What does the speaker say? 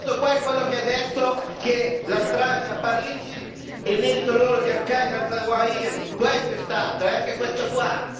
questo qua è quello che ha detto che la strage a Parigi è merito loro, di Al Qaida Zawahiri, questo è stato, e anche questo qua!